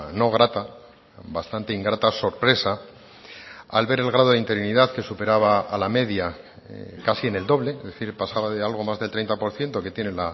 no grata bastante ingrata sorpresa al ver el grado de interinidad que superaba a la media casi en el doble es decir pasaba de algo más del treinta por ciento que tiene